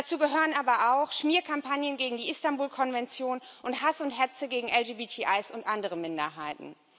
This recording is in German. Dazu gehören aber auch Schmierkampagnen gegen die Istanbul Konvention und Hass und Hetze gegen LGBTI und andere Minderheiten.